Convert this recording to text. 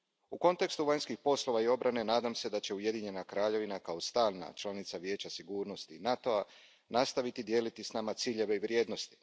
U kontekstu vanjskih poslova i obrane nadam se da će Ujedinjena Kraljevina kao stalna članica Vijeća sigurnosti NATO a nastaviti dijeliti s nama ciljeva i vrijednosti.